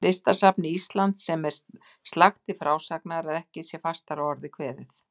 Listasafni Íslands, sem er slakt til frásagnar, að ekki sé fastar að orði kveðið.